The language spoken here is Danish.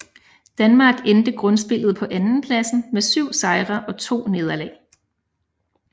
Danmark endte grundspillet på andenpladsen med 7 sejre og 2 nederlag